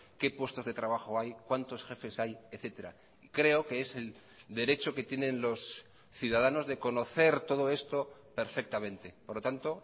qué puestos de trabajo hay cuántos jefes hay etcétera creo que es el derecho que tienen los ciudadanos de conocer todo esto perfectamente por lo tanto